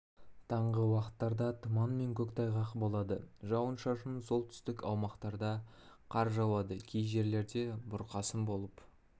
таңғы уақыттарда тұман мен көктайғақ болады жауын-шашын солтүстік аумақтарда қар жауады кей жерлерде бұрқасын болып